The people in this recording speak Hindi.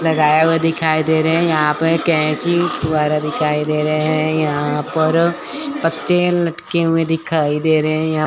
लगाया हुआ दिखाई दे रहे हैं यहां पर कैसी द्वारा दिखाई दे रहे हैं यहां पर पत्ते लटके दिखाई दे रहे हैं यहां--